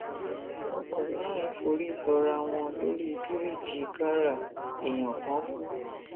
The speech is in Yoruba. ọkọ mẹrin forí sọra wọn lórí bíríìjì kára èèyàn kan kú